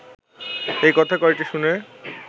এই কথা কয়টি শুনে